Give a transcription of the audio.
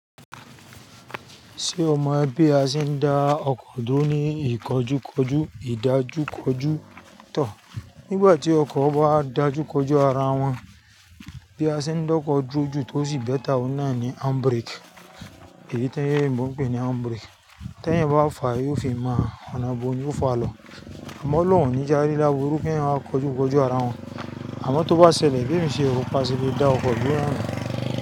Ṣé o mọ bí a ṣe ń dá ọkọ̀ dúró ní ìkójúkójú ìdájúkójú tọ̀? Nígbà tí ọkọ̀ bá dájúkọjú ara wọn, bí a ṣe ń dọ́kọ̀ dúró ju tó sì bẹ́ta, ó náà ni handbrake. Èyí tẹ́ẹ́ tí wọ́n ń pè ní handbrake. Tẹ́ẹ́ yẹn bá fàá, yóò fi mọ́ ọ̀nà ibo ni ó fọ àlọ́. Àmọ́ lóhùn ní jàrí lábọrú pé ẹ̀yin máa kójúkójú ara wọn. Àmọ́ tó bá ṣẹlẹ̀, gbé mi sí ro, paṣẹ lé dá ọkọ̀ dúró náà.